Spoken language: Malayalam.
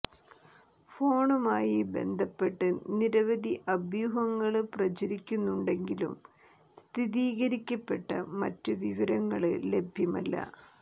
ഫോണുമായി ബന്ധപ്പെട്ട് നിരവധി അഭ്യൂഹങ്ങള് പ്രചരിക്കുന്നുണ്ടെങ്കിലും സ്ഥിരീകരിക്കപ്പെട്ട മറ്റ് വിവരങ്ങള് ലഭ്യമല്ല